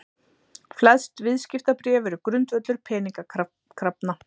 Flest viðskiptabréf eru grundvöllur peningakrafna.